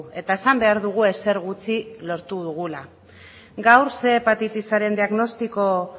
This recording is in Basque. eta esan behar dugu ezer gutxi lortu dugula gaur ehun hepatitisaren diagnostiko